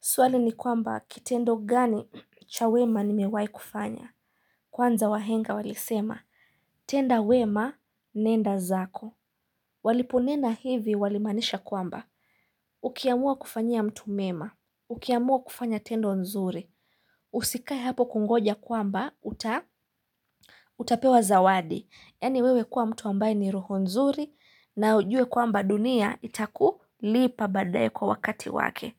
Swali ni kwamba kitendo gani cha wema nimewahi kufanya. Kwanza wahenga walisema, tenda wema nenda zako. Waliponena hivi walimaanisha kwamba. Ukiamua kufanyia mtu mema, ukiamua kufanya tendo nzuri, usikae hapo kungoja kwamba utapewa zawadi. Yaani wewe kuwa mtu ambaye ni roho nzuri na ujue kwamba dunia itaku lipa baadaye kwa wakati wake.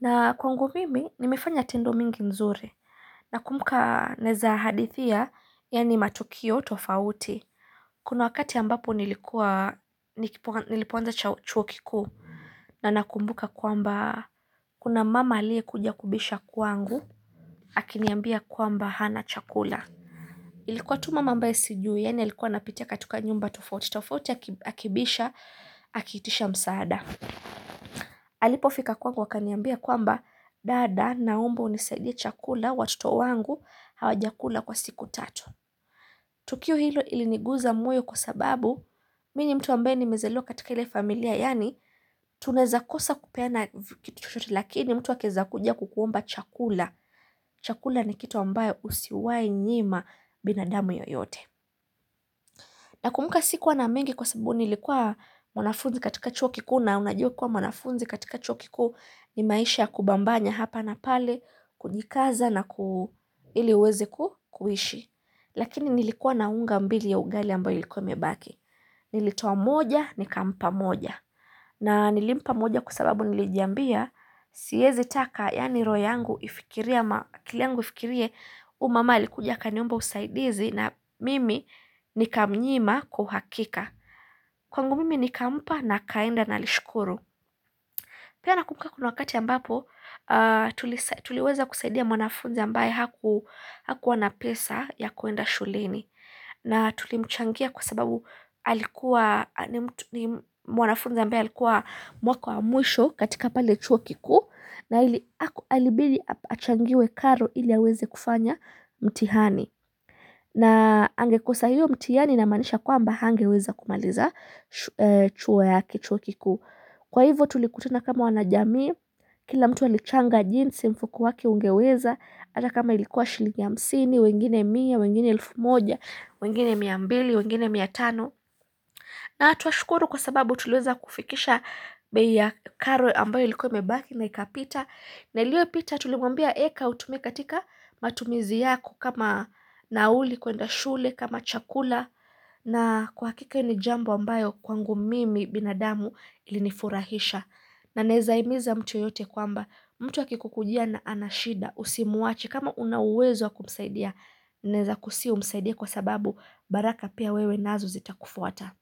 Na kwangu mimi nimefanya tendo mingi nzuri nakumbuka naweza hadithia yaani matukio tofauti. Kuna wakati ambapo nilikuwa nilipoanza chuo kikuu na nakumbuka kwamba kuna mama aliyekuja kubisha kwangu akiniambia kwamba hana chakula. Ilikuwa tu mama ambaye sijui yaani alikuwa anapitia katika nyumba tofauti tofauti akibisha akiitisha msaada. Alipofika kwangu akaniambia kwamba dada naomba unisaidie chakula watoto wangu hawajakula kwa siku tatu Tukio hilo iliniguza moyo kwa sababu mi ni mtu ambaye nimezaliwa katika ile familia yaani tunaeza kosa kupena kitu chochote lakini mtu akiweza kuja kukuomba chakula Chakula ni kitu ambayo usiwahi nyima binadamu yoyote Nakumbuka sikuwa na mengi kwa sababu nilikuwa mwanafunzi katika chuo kikuu na unajua kuwa mwanafunzi katika chuo kikuu ni maisha kubambanya hapa na pale kujikaza na ku ili uweze kuishi. Lakini nilikuwa na unga mbili ya ugali ambayo ilikuwa imebaki. Nilitoa moja nikampa moja. Na nilimpa moja kwa sababu nilijiambia siezi taka yaani roho yangu ifikirie ma akili yangu ifikirie huyu mama alikuja akaniomba usaidizi na mimi nikamnyima kwa uhakika. Kwangu mimi nikampa na akaenda na alishukuru. Pia nakumbuka kuna wakati ambapo, tuliweza kusaidia mwanafunza ambaye hakuwa na pesa ya kuenda shuleni. Na tulimchangia kwa sababu mwanafunza ambaye alikuwa mwaka wa mwisho katika pale chuo kikuu. Na ili haku alibidi achangiwe karo ili aweze kufanya mtihani. Na angekosa hiyo mtihani inamaanisha kwamba hangeweza kumaliza chuo yake chuo kikuu. Kwa hivyo tulikutana kama wanajamii, kila mtu alichanga jinsi mfuko wake ungeweza hata kama ilikuwa shilingi hamsini, wengine mia, wengine elfu moja, wengine miambili, wengine miatano na twashukuru kwa sababu tuliweza kufikisha bei ya karo ambayo ilikuwa imebaki na ikapita na iliyopita tulimwambia eka utumie katika matumizi yako kama nauli kwenda shule, kama chakula na kwa hakika ni jambo ambayo kwangu mimi binadamu ilinifurahisha. Na naezahimiza mtu yeyote kwamba mtu akikukujia na ana shida usimwache, kama una uwezo wa kumsaidia Naeza kusihi umsaidia kwa sababu baraka pia wewe nazo zita kufuata.